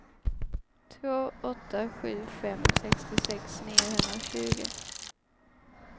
två åtta sju fem sextiosex niohundratjugo